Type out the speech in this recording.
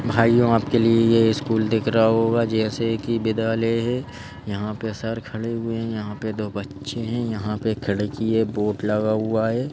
भाइयों आपके लिए यह स्कूल दिख रहा होगा जैसे कि विद्यालय है यहाँ पे सर खड़े हुए हैं यहाँ पे दो बच्चे हैं यहाँ पे खड़े कि ये बोट लगा हुआ है।